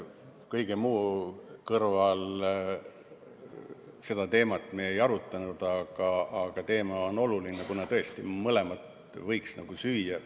Kõige muu kõrval me seda teemat ei arutanud, aga teema on oluline, kuna tõesti, mõlemat võiks nagu süüa.